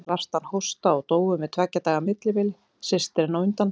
Þær fengu svartan hósta og dóu með tveggja daga millibili, systirin á undan.